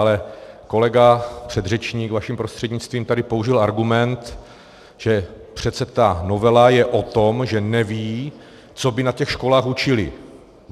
Ale kolega předřečník vaším prostřednictvím tady použil argument, že přece ta novela je o tom, že neví, co by na těch školách učili.